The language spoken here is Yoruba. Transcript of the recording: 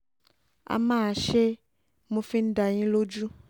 á máa ṣe é mo fi ń dá yín lójú